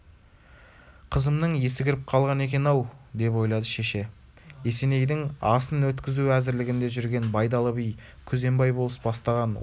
қызымның есі кіріп қалған екен-ау деп ойлады шеше есенейдің асын өткізу әзірлігінде жүрген байдалы би күзембай болыс бастаған отыз шақты